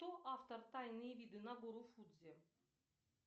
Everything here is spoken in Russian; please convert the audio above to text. кто автор тайные виды на гору фудзи